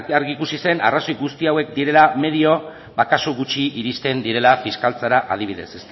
argi ikusi zen arrazoi guzti hauek direla medio ba kasu gutxi iristen direla fiskaltzara adibidez